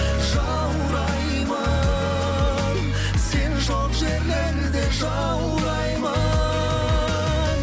жаураймын сен жоқ жерлерде жаураймын